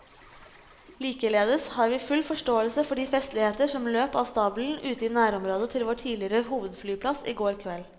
Likeledes har vi full forståelse for de festligheter som løp av stabelen ute i nærområdet til vår tidligere hovedflyplass i går kveld.